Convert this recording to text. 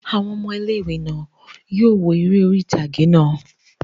Àwọn ọmọ ilé-ìwé náà yóò wo eré orí ìtàgé náà